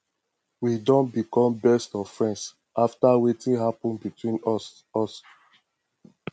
we don become best of friends after wetin happen between us us